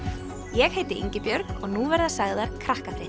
ég heiti Ingibjörg og nú verða sagðar